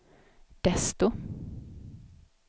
desto